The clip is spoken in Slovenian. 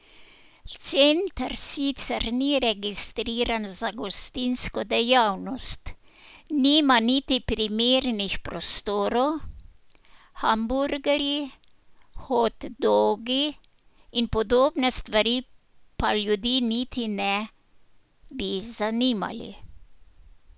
Center sicer ni registriran za gostinsko dejavnost, nima niti primernih prostorov, hamburgerji, hot dogi in podobne stvari pa ljudi niti ne bi zanimali.